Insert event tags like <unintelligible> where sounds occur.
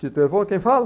<unintelligible> quem fala?